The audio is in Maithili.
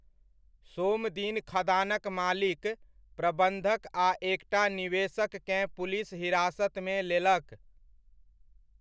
सोम दिन खदानक मालिक, प्रबन्धक आ एकटा निवेशककेँ पुलिस हिरासतमे लेलक।